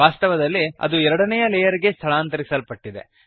ವಾಸ್ತವದಲ್ಲಿ ಅದು ಎರಡನೆಯ ಲೇಯರ್ ಗೆ ಸ್ಥಳಾಂತರಿಸಲ್ಪಟ್ಟಿದೆ